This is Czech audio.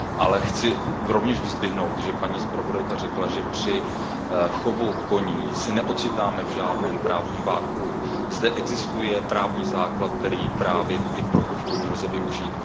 Ale chci rovněž vyzdvihnout, že paní zpravodajka řekla, že při chovu koní se neocitáme v žádném právním vakuu. Zde existuje právní základ, který právě i pro chov koní lze využít.